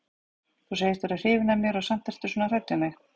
Þú segist vera hrifin af mér og samt ertu svona hrædd við mig.